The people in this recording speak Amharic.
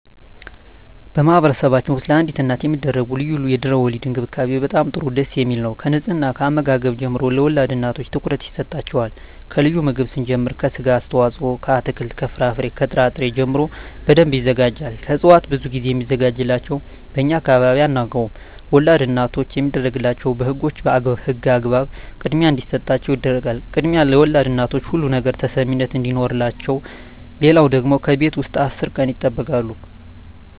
በማህበረሰብችን ውስጥ ለአዲስ እናት የሚደረጉ ልዩ የድህረ _ወሊድ እንክብካቤ በጣም ጥሩ ደስ የሚል ነው ከንጽሕና ከአመጋገብ ጀምሮ ለወልድ እናቶች ትኩረት ይሰጣቸዋል ከልዩ ምግብ ስንጀምር ከስጋ አስተዋጽኦ ከአትክልት ከፍራፍሬ ከጥራ ጥሪ ጀምሮ በደንብ ይዘጋጃል ከእጽዋት ብዙ ግዜ ሚዘጋጅላቸው በእኛ አካባቢ አናውቀውም ወላድ እናቶች የሚደረግላቸው በህጎች በህግ አግባብ ክድሚያ እንዲሰጣቸው ይደረጋል ክድሚያ ለወልድ እናቶች ሁሉ ነገር ተሰሚነት አዲኖረቸው ሌለው ደግሞ ከቤት ውስጥ አስር ቀን ይጠበቃሉ